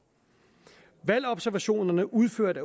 valgobservationerne udført